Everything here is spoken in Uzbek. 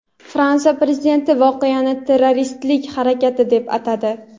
Fransiya Prezidenti voqeani terroristik harakat deb atadi.